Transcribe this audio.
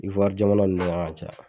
jamana ninnu na ka caya.